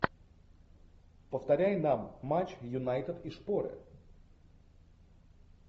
повторяй нам матч юнайтед и шпоры